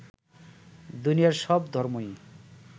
দুনিয়ার সব ধর্মই